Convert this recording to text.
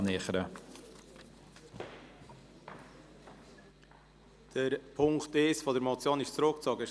Die Ziffer 1 der Motion ist also zurückgezogen worden.